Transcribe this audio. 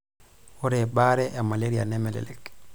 Ore baare e maleria nemelelek.